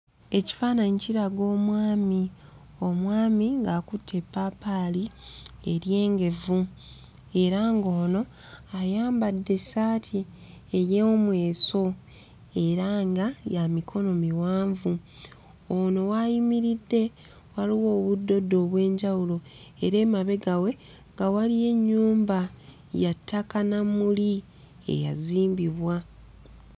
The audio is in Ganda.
Ekifaananyi kiraga omwami, omwami ng'akutte eppaapaali eryengevu, era ng'ono ayambadde essaati ey'omweso era nga ya mikono miwanvu, ono w'ayimiridde waliwo obuddoddo obw'enjawulo era emabega we nga waliyo ennyumba ya ttaka na mmuli eyazimbibwa.